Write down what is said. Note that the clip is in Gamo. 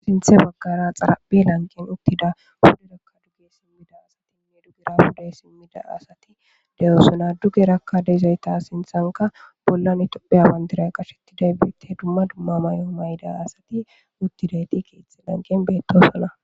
sinthe baggara xaraphi lanqen uttida hude rakka duge simmida asatinne dugera hude simmida asati de7osona duge rakka deizayta sinthanka bollan itophe amandira qashettiday biitte dumma dumma may7o mayda asati uttidayti keethe lanqen beettosana